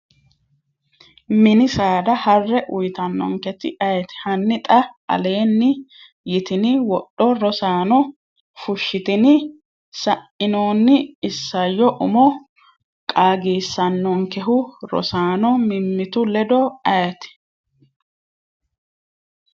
mini sada harre uyitannonketi ayeeti? Hanni xa aleenni yitini wodho Rosaano fushshitini? sa’inoonni isayyo umo qaagisannonkehu Rosaano mimmitu ledo ayeeti?